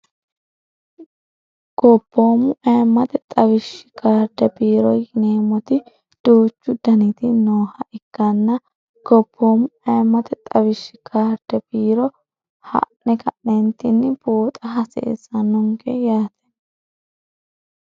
gopoomu aemmate xawishshi karde biiro yineemmoti duuchu daniti nooha ikkanna gopoommu aemmate xawishshi kaarde biiro ha'ne ka'neentinni buoxa haseessa nonge yaate